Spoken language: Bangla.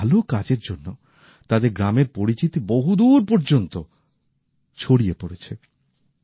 ভালো কাজের জন্য তাদের গ্রামের পরিচিতি বহুদূর পর্যন্ত ছড়িয়ে পড়েছে